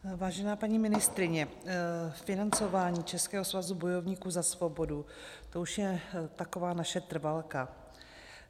Vážená paní ministryně, financování Českého svazu bojovníků za svobodu, to už je taková naše trvalka.